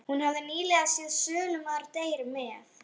Hún hafði nýlega séð Sölumaður deyr með